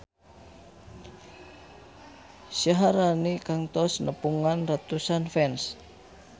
Syaharani kantos nepungan ratusan fans